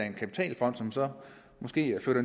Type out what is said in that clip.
en kapitalfond som så måske flytter